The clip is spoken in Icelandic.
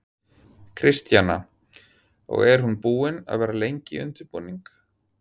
Kristjana: Og er hún búin að vera lengi í undirbúningi?